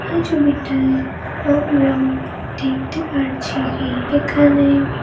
এই ছবিটায় আমরাও দেখতে পারছি কি এখানে--